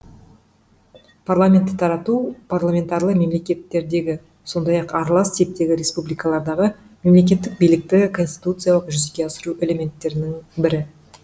парламентті тарату парламентарлы мемлекеттердегі сондай ақ аралас типтегі республикалардағы мемлекеттік билікті конституциялық жүзеге асыру әлементтерінің бірі